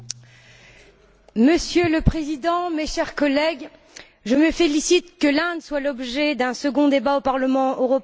Monsieur le Président, mes chers collègues, je me félicite de ce que l'Inde fasse l'objet d'un second débat au Parlement européen en deux mois.